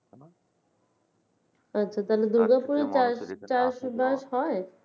আচ্ছা তাহলে Durgapur এ চাষ চাষাবাস হয়